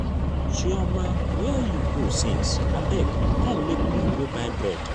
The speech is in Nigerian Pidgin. chioma where you go since? abeg come make we go buy bread